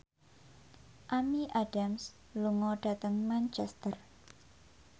Amy Adams lunga dhateng Manchester